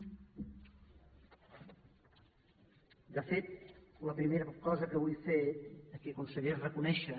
de fet la primera cosa que vull fer aquí conseller és reconèixer